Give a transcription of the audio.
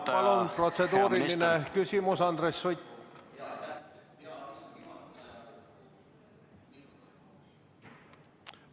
Jah, palun, protseduuriline küsimus, Andres Sutt!